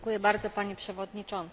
Pani Przewodnicząca!